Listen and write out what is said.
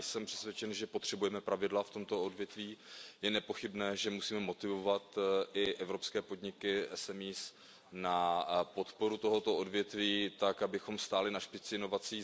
Já jsem přesvědčen, že potřebujeme pravidla v tomto odvětví. Je nepochybné, že musíme motivovat i evropské podniky, MSP na podporu tohoto odvětví tak, abychom stáli na špici inovací.